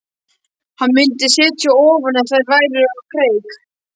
Hann myndi setja ofan ef þær færu á kreik.